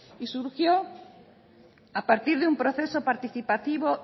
y surgió a partir de un proceso participativo